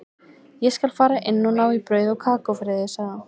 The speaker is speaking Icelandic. Ég skal fara inn og ná í brauð og kakó fyrir þig, sagði hann.